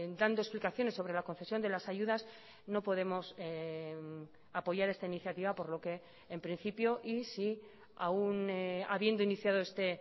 dando explicaciones sobre la concesión de las ayudas no podemos apoyar esta iniciativa por lo que en principio y si aún habiendo iniciado este